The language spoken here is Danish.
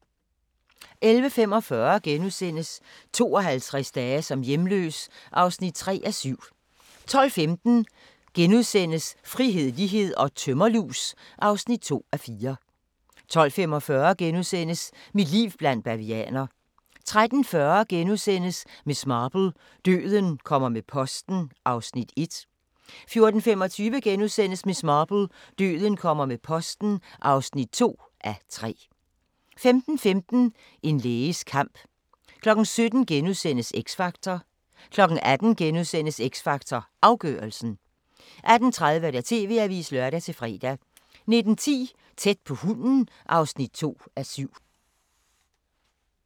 11:45: 52 dage som hjemløs (3:7)* 12:15: Frihed, lighed & tømmerlus (2:4)* 12:45: Mit liv blandt bavianer * 13:40: Miss Marple: Døden kommer med posten (1:3)* 14:25: Miss Marple: Døden kommer med posten (2:3)* 15:15: En læges kamp 17:00: X Factor * 18:00: X Factor Afgørelsen * 18:30: TV-avisen (lør-fre) 19:10: Tæt på hunden (2:7)